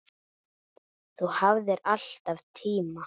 Þú hafðir alltaf tíma.